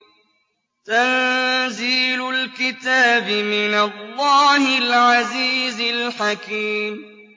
تَنزِيلُ الْكِتَابِ مِنَ اللَّهِ الْعَزِيزِ الْحَكِيمِ